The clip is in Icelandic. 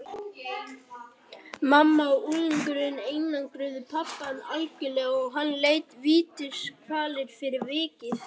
Mamman og unglingurinn einangruðu pabbann algjörlega og hann leið vítiskvalir fyrir vikið.